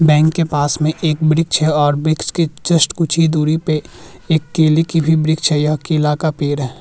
Bank के पास में एक वृक्ष है और वृक्ष के जस्ट कुछ ही दूरी पे एक केले की भी वृक्ष है यह केला का पेड़ है।